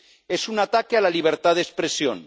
Es un ataque a la libertad de expresión.